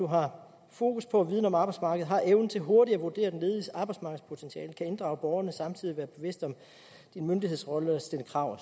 har fokus på og viden om arbejdsmarkedet har evnen til hurtigt at vurdere den lediges arbejdsmarkedspotentiale kan inddrage borgerne og samtidig være bevidst om sin myndighedsrolle stille krav